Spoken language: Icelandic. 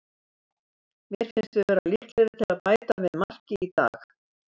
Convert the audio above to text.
Mér fannst við vera líklegri til að bæta við marki í dag.